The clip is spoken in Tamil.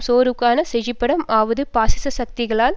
சோர்வுக்கான செழிப்பிடமாக ஆவது பாசிச சக்திகளால்